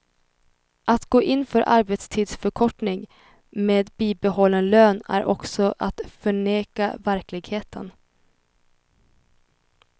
Att gå in för arbetstidsförkortning med bibehållen lön är också att förneka verkligheten.